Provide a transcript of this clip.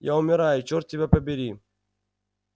я умираю черт тебя побери